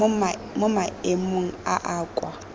mo maemong a a kwa